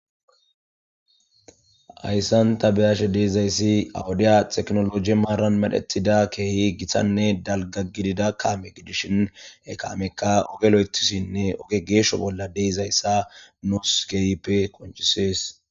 ayssan ta beyashe deezayssi awudiya teknoloje maaran medhetida keehi giththanne dalga gidida kaame gidishin e kaamekka ogelo7etisinne oge geeshsho bolla deezayssa nos geyppe konchisees